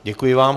Děkuji vám.